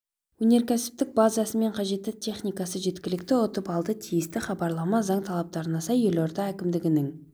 өнеркәсіптік базасы мен қажетті техникасы жеткілікті ұтып алды тиісті хабарлама заң талаптарына сай елорда әкімдігінің